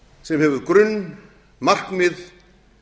sem hefur grunn markmið